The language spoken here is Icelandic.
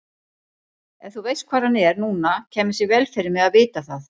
Ef þú veist hvar hann er núna kæmi sér vel fyrir mig að vita það.